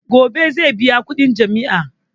Gobe zai biya kudin jami'a.